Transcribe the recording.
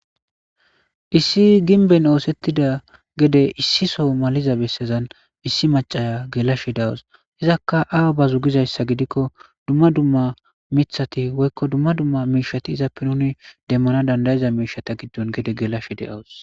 Issi gimbben ossetida gedde malatiza bessan issi maccaya gelashe dawssi izatika awa baze gizayssa gikko miththaykka dumma dumma mishata demana dandayzza mishshatakko gelashe dawssi.